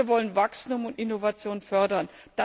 Und wir wollen Wachstum und Innovation fördern.